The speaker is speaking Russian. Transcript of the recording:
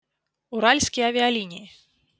уральские авиалинии